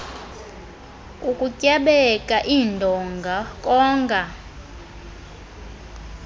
ukutyabeka iindonga konga